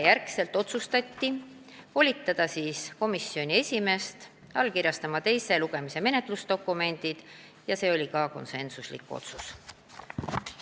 Pärast seda otsustati volitada komisjoni esimeest allkirjastama teise lugemise menetlusdokumendid ja see oli ka konsensuslik otsus.